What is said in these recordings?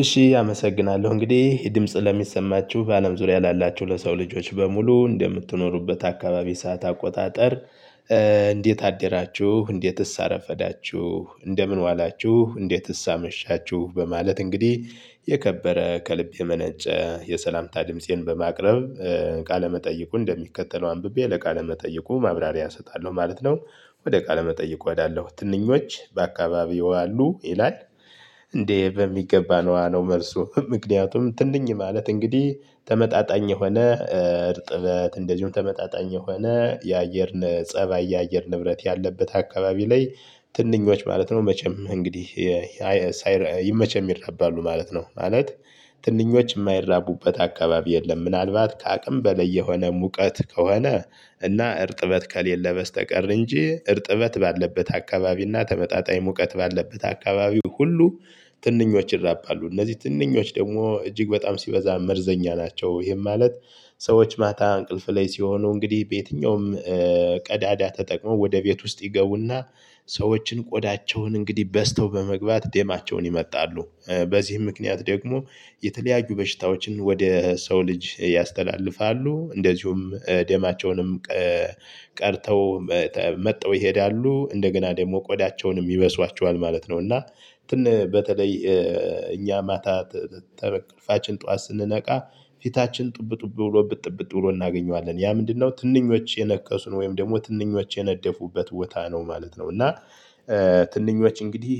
እሺ አመሰግናለሁ እንግዲህ ድምጽ ለሚሰማችሁ በአለም ዙሪያ ላላችሁ ለሰው ልጆች በሙሉ እንደምትኖሩበት አካባቢ ሰዓት አቆጣጠር። እንዴት አደራችሁ እንዴትስ አረፈዳችሁ እንደምን ዋላችሁ እንዴትስ አመሻችሁ በማለት እንግዲህ የከበረ ከልብ የመነጨ የሰላምታ ድምፄን በማቅረብ ቃለመጠይቁ እንደሚከተለው አንብቤ ለቃለመጠይቁ ማብራሪያ እሰጣለሁ ማለት ነው። ወደ ቃለመጠይቁ ወዳለው ትንኞች በአካባቢው አሉ ይላል። እንዴ በሚገባ ነው መልሱ ምክንያቱም ትንኝ ማለት እንግዲህ ተመጣጣኝ የሆነ እርጥበት እንደዚሁም ተመጣጣኝ የሆነ የአየር ፀባይ የአየር ንብረት ያለበት አካባቢ ላይ። ትንኞች ማለት ነው መቼም እንግዲህ መቼም ይራባሉ ማለት ነው ማለት ትንኞች የማይራቡበት አካባቢ የለም። ምናልባት ከአቅም በለይ የሆነ ሙቀት ከሆነ እና እርጥበት ከሌለ በስተቀር እንጂ እርጥበት ባለበት አካባቢ እና ተመጣጣኝ ሙቀት ባለበት አካባቢ ሁሉ ትንኞች ይራባሉ። እነዚህ ትንኞች ደግሞ እጅግ በጣም ሲበዛ መርዘኛ ናቸው። ይሄም ማለት ሰዎች ማታ እንቅልፍ ላይ ሲሆኑ እንግዲህ በየትኛውም ቀዳዳ ተጠቅሞ ወደ ቤት ውስጥ ይገቡና ሰዎችን ቆዳቸውን እንግዲህ በስተው በመግባት ደማቸውን ይመጣሉ በዚህ ምክንያት ደግሞ የተለያዩ በሽታዎችን ወደ ሰው ልጅ ያስተላልፋሉ። እንደዚሁም ደማቸውንም ቀድተው መጥተው ይሄዳሉ እንደገና ደግሞ ቆዳቸውንም ይበሷቸዋል ማለት ነው። እና በተለይ እኛ ማታ ተበ እንቅልፍችን ጠዋት ስንነቃ ፊታችን ጡብጡብ ብሎብን እብጥ እብጥ ብሎ እናገኘዋለን ያ ምንድነው ትንኞች የነከሱን ወይም ደግሞ ትንኞች የነደፉበት ቦታ ነው ማለት ነው። እና ትንኞች እንግዲህ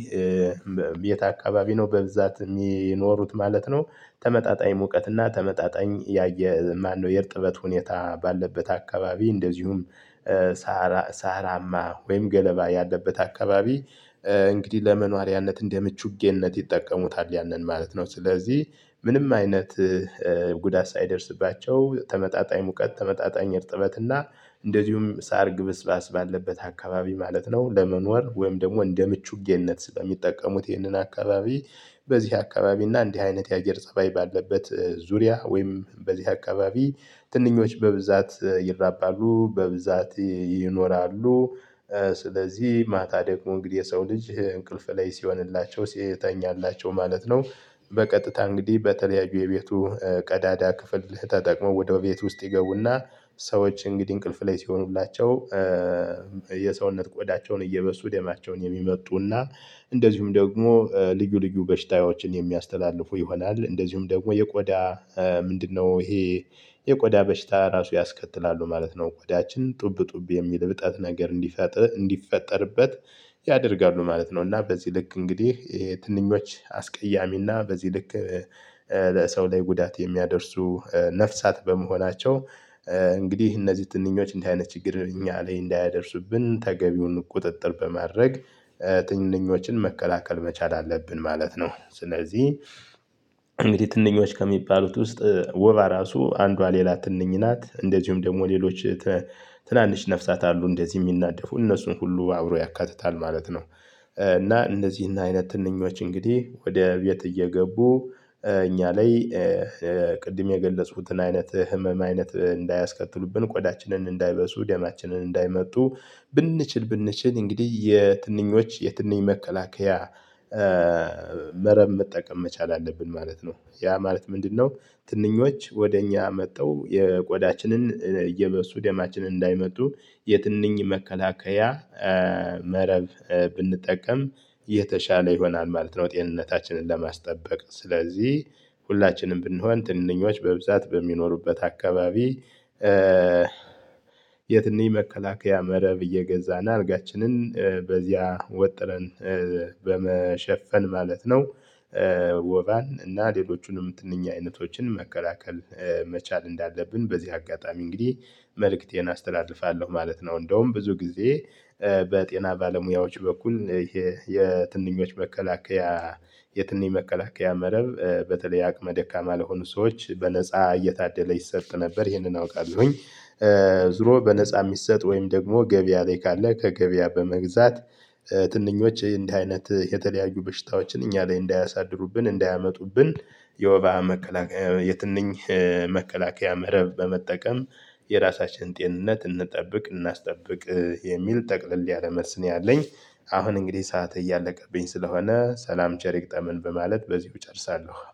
የት አካባቢ ነው በብዛት የሚኖሩት ማለት ነው። ተመጣጣኝ ሙቀት እና ተመጣጣኝ ያየ ማነው የእርጥበት ሁኔታ ባለበት አካባቢ እንደዚሁም ሳራማ ወይም ገለባ ያለበት አካባቢ እንግዲህ ለመኖሪያነት እንደ ምቹጌነት ይጠቀሙታል ያንን ማለት ነው። ስለዚህ ምንም አይነት ጉዳት ሳይደርስባቸው ተመጣጣኝ ሙቀት ተመጣጣኝ እርጥበት እና እንደዚሁም ሳር ግብስባስ ባለበት አካባቢ ማለት ነው። ለመኖር ወይም ደግሞ እንደ ምቹጌነት ስለሚጠቀሙት ይህንን አካባቢ በዚህ አካባቢ እና እንዲህ አይነት የአገር ፀባይ ባለበት ዙሪያ ወይም በዚህ አካባቢ ትንኞች በብዛት ይራባሉ በብዛት ይኖራሉ። ስለዚህ ማታ ደግሞ እንግዲህ የሰው ልጅ እንቅልፍ ላይ ሲሆንላቸው ሲተኛላቸው ማለት ነው። በቀጥታ እንግዲህ በተለያዩ የቤቱ ቀዳዳ ክፍል ተጠቅሞ ወደ ቤት ውስጥ ይገቡና ሰዎች እንግዲህ እንቅልፍ ላይ ሲሆኑላቸው የሰውነት ቆዳቸውን እየበሱ ደማቸውን የሚመጡና እንደዚሁም ደግሞ ልዩ ልዩ በሽታዎችን የሚያስተላልፉ ይሆናል። እንደዚሁም ደግሞ የቆዳ ምንድነው ይሄ የቆዳ በሽታ ራሱ ያስከትላሉ ማለት ነው። ቆዳችን ጡብ ጡብ የሚል እብጠት ነገር እንዲፈጥር እንዲፈጠርበት ያደርጋሉ ማለት ነው። እና በዚህ ልክ እንግዲህ ትንኞች አስቀያሚና በዚህ ልክ በሰው ላይ ጉዳት የሚያደርሱ ነፍሳት በመሆናቸው እንግዲህ እነዚህ ትንኞች እንደዚህ አይነት ችግር እኛ ላይ እንዳያደርሱብን ተገቢውን ቁጥጥር በማድረግ ትንኞችን መከላከል መቻል አለብን ማለት ነው። ስለዚህ እንግዲህ ትንኞች ከሚባሉት ውስጥ ወባ ራሱ አንዷ ሌላ ትንኝ ናት እንደዚሁም ደግሞ ሌሎች ትናንሽ ነፍሳት አሉ እንደዚህ የሚናደፉ እነሱን ሁሉ አብሮ ያካትታል ማለት ነው። እና እንደዚህ እና አይነት ትንኞች እንግዲህ ወደ ቤት እየገቡ እኛ ላይ ቅድም የገለጽኩትን አይነት ህመም አይነት እንዳያስከትሉብን ቆዳችንን እንዳይበሱ ደማችንን እንዳይመጡ ብንችል ብንችል እንግዲህ የትንኞች የትንኝ መከላከያ መረብ መጠቀም መቻል አለብን ማለት ነው። ያ ማለት ምንድነው? ትንኞች ወደ እኛ መጥተው የቆዳችንን እየበሱ ደማችን እንዳይመጡ የትንኝ መከላከያ መረብ ብንጠቀም የተሻለ ይሆናል ማለት ነው። ጤንነታችንን ለማስጠበቅ ስለዚህ ሁላችንም ብንሆን ትንንኞች በብዛት በሚኖሩበት አካባቢ የትንኝ መከላከያ መረብ እየገዛን አልጋችንን በዚያ ወጥረን በመሸፈን ማለት ነው። ወባን እና ሌሎቹንም የትንኝ አይነቶችን መከላከል መቻል እንዳለብን በዚህ አጋጣሚ እንግዲህ መልእክቴን አስተላልፋለሁ ማለት ነው። እንደውም ብዙ ጊዜ በጤና ባለሙያዎች በኩል ይሄ የትንኞች መከላከያ የትንኝ መከላከያ መረብ በተለይ አቅመ ደካማ ለሆኑ ሰዎች በነፃ እየታደለ ይሰጥ ነበር ይሄንን አውቃለሁኝ። ዙሮ በነፃ የሚሰጥ ወይም ደግሞ ገበያ ላይ ካለ ከገበያ በመግዛት ትንኞች እንዲህ አይነት የተለያዩ በሽታዎችን እኛ ላይ እንዳያሳድሩብን እንዳያመጡብን የወባ መከላከያ የትንኝ መከላከያ መረብ በመጠቀም የራሳችንን ጤንነት እንጠብቅ እናስጠብቅ የሚል ጠቅልል ያለ መልስ ነው። ያለኝ አሁን እንግዲህ ሰዓት እያለቀብኝ ስለሆነ ሰላም ቸር ይግጠመን በማለት በዚሁ እጨርሳለሁ